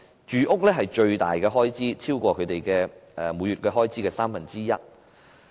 住屋是最大的開支，超過每月開支的三分之一。